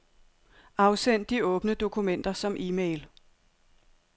Afsend de åbne dokumenter som e-mail.